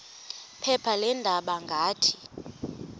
phepha leendaba ngathi